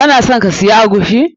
Kana son ka siya eguisi?